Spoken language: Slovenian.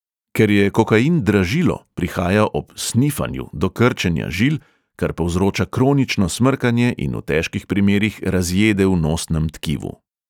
Ker je kokain dražilo, prihaja ob 'snifanju' do krčenja žil, kar povzroča kronično smrkanje in v težkih primerih razjede v nosnem tkivu.